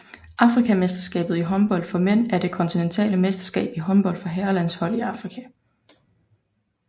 Afrikamesterskabet i håndbold for mænd er det kontinentale mesterskab i håndbold for herrelandshold i Afrika